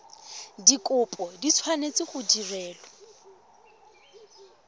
dikopo di tshwanetse go direlwa